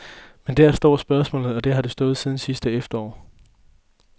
Men der står spørgsmålet, og der har det stået siden sidste efterår.